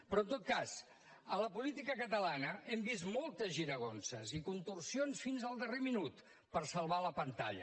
però en tot cas a la política catalana hem vist moltes giragonses i contorsions fins al darrer minut per salvar la pantalla